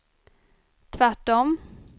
tvärtom